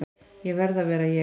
Ég verð að vera ég.